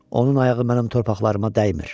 Onun ayağı mənim torpaqlarıma dəymir.